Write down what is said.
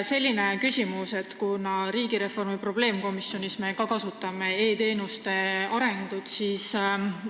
Mul on küsimus, kuna me riigireformi probleemkomisjonis ka arutleme e-teenuste arengu üle.